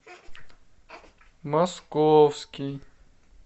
московский